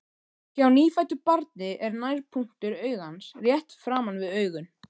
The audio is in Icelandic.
Hjá nýfæddu barni er nærpunktur augans rétt framan við augun.